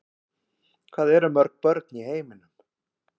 hvað eru mörg börn í heiminum